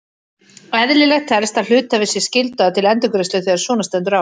Eðlilegt telst að hluthafi sé skyldaður til endurgreiðslu þegar svona stendur á.